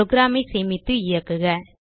programஐ சேமித்து இயக்குக